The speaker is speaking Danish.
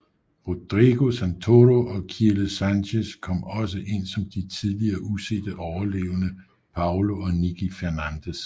Rodrigo Santoro og Kiele Sanchez kom også ind som de tidligere usete overlevende Paulo og Nikki Fernandez